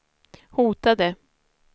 hotade